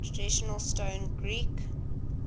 traditional stone greek